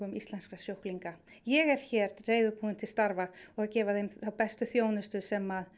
íslenskra sjúklinga ég er hér reiðubúin til starfa og að gefa þeim þá bestu þjónustu sem